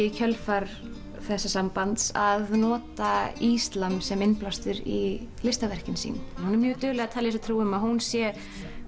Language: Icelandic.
í kjölfar þess sambands að nota islam sem innblástur í verkin sín hún er mjög dugleg að telja sér trú um að hún sé